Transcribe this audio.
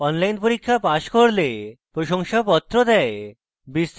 online পরীক্ষা pass করলে প্রশংসাপত্র দেয়